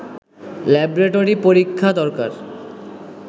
laboratory পরীক্ষা দরকার